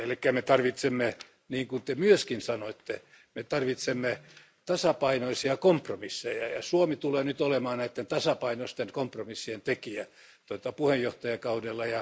Me tarvitsemme, niin kuin te myöskin sanoitte, me tarvitsemme tasapainoisia kompromisseja, ja Suomi tulee nyt olemaan näiden tasapainosten kompromissien tekijä puheenjohtajakaudellaan.